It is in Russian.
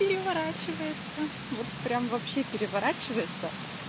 переворачивается вот прям вообще переворачивается